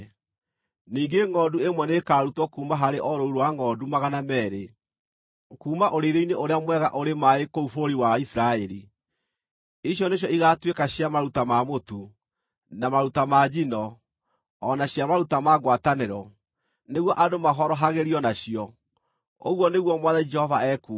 Ningĩ ngʼondu ĩmwe nĩĩkarutwo kuuma harĩ o rũũru rwa ngʼondu magana meerĩ kuuma ũrĩithio-inĩ ũrĩa mwega ũrĩ maaĩ kũu bũrũri wa Isiraeli. Icio nĩcio igaatuĩka cia maruta ma mũtu, na maruta ma njino, o na cia maruta ma ngwatanĩro, nĩguo andũ mahorohagĩrio nacio, ũguo nĩguo Mwathani Jehova ekuuga.